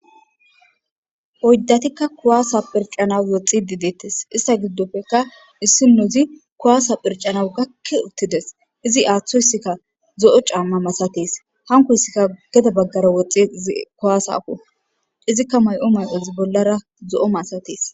Oyddatikka kuwaase pherccanaw woxiidi deettes istta giddopekka issinozi kuwaasa phirccanaasw gakki uttides.izi aatoyssikka zo7o caamma masatees. hankoyssika gede baggara woxxees izikka mayo may7ozi bollara zo7o masatees.